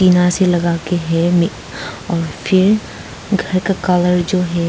यहाँ से लगा के है मे और फिर घर का कलर जो है।